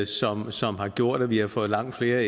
sådan som har gjort at vi har fået langt flere